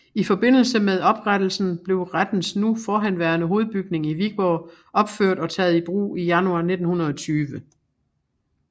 I forbindelse med oprettelsen blev rettens nu forhenværende hovedbygning i Viborg opført og taget i brug i januar 1920